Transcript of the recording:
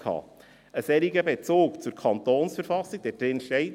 Ein solcher Bezug zur Verfassung des Kantons Bern (KV) ...